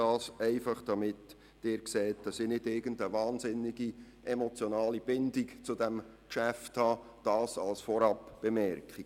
Ich sage das, damit Sie wissen, dass ich keine unglaublich grosse emotionale Bindung zu diesem Geschäft habe.